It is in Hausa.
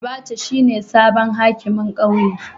Abacha shine sabon hakimin kauye.